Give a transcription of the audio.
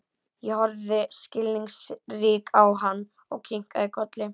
Ég horfði skilningsrík á hann og kinkaði kolli.